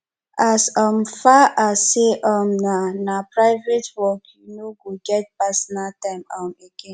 as um far as sey um na na private work you no go get pasonal time um again